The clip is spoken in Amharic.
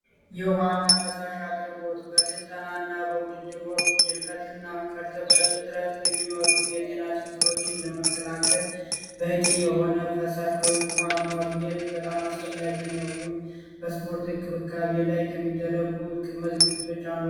የፈሳሽ እና ውሃ አቅርቦት በስልጠና እና በዉድድር ጊዜ ድርቀትን እና ከእርጥበት እጥረት የሚመጡ በሽታዎችን ለመከላከል በቂ የሆነ ፈሳሽ ወይም ውሃ ማግኘት በጣም አስፈላጊ ነው። ይህም በስፖርት እንክብካቤ ላይ ከሚደረጉ ቅድመ ዝግጅቶች አንዱ ነው።